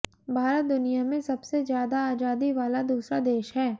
भारत दुनिया में सबसे ज्यादा आजादी वाला दूसरा देश है